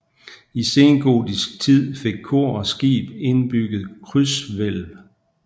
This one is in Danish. I sengotisk tid fik kor og skib indbygget krydshvælv